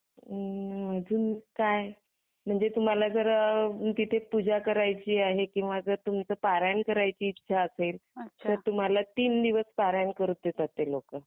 अजून काय म्हणजे तुम्हाला जर तिथे पूजा करायची आहे किव्हा तुम्हला पारायण करायची इच्छा असेल तर तुम्हाला तीन दिवस पारायण करू देतात ते लोक.